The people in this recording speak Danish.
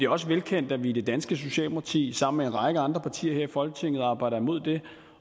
også velkendt at vi i det danske socialdemokrati sammen med en række andre partier her i folketinget arbejder imod det